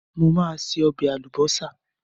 Mo máa se ọbẹ̀ àlùbọ́sà.